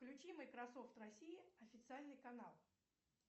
включи майкрософт россия официальный канал